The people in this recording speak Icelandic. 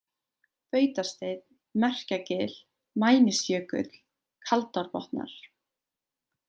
Bautasteinn, Merkjagil, Mænisjökull, Kaldárbotnar